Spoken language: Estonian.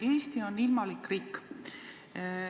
Eesti on ilmalik riik.